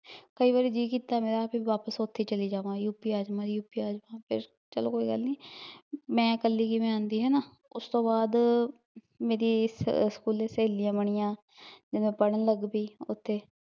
ਕਈ ਵਾਰੀ ਜੀਅ ਕੀਤਾ ਮੇਰਾ ਵੀ ਵਾਪਿਸ ਓਥੇ ਈ ਚਲੀ ਜਾਵਾ UP ਆ ਜਾਵਾ UP ਆ ਜਾਵਾ ਬਸ ਚਲੋ ਕੋਈ ਗਲ ਨੀ ਮੈਂ ਕੱਲੀ ਕਿਵੇ ਆਉਂਦੀ ਹੈਨਾ, ਉਸਤੋਂ ਬਾਦ ਮੇਰੀ ਸਕੂਲੇ ਸਹੇਲੀਆਂ ਬਣੀਆਂ ਤੇ ਪੜਨ ਲੱਗਪੀ ਓਥੇ